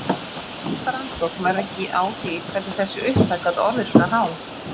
Ætli næsta rannsókn verði ekki á því hvernig þessi upphæð gat orðið svona há?